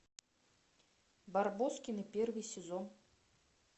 барбоскины первый сезон